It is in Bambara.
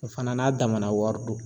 O fana n'a damana wari don.